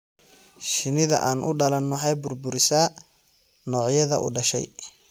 Shinnida aan u dhalan waxay burburisaa noocyada u dhashay.